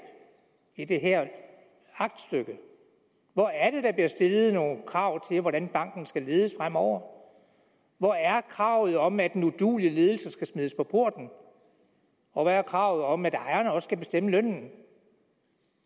i det her aktstykke hvor er det der bliver stillet nogle krav til hvordan banken skal ledes fremover hvor er kravet om at en uduelig ledelse skal smides på porten og hvor er kravet om at ejerne også skal bestemme lønnen